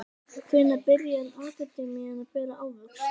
Hvenær byrjar akademían að bera ávöxt?